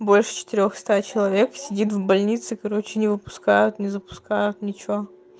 больше четырёх ста человек сидит в больнице короче не выпускают не запускают ничего